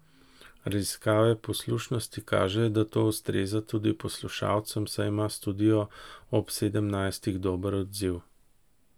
Raziskave poslušanosti kažejo, da to ustreza tudi poslušalcem, saj ima Studio ob sedemnajstih dober odziv.